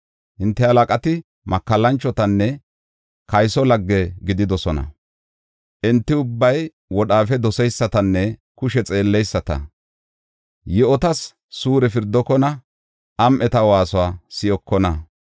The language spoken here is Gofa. Hinte halaqati makallanchotanne kayso lagge gididosona; enti ubbay wodhaafe doseysatanne kushe xeelleyisata. Yi7otas suure pirdokona; am7eta waasuwa si7okona.